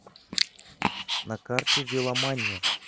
на карте веломания